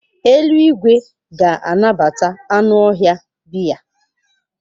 Eluigwe ga-anabata anụ ọhịa bia.